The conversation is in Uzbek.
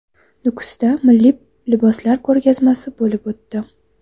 Nukusda milliy liboslar ko‘rgazmasi bo‘lib o‘tdi .